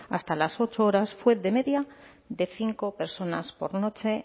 hasta las ocho horas fue de media de cinco personas por noche